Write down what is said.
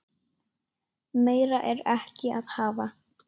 Meira er ekki að hafa.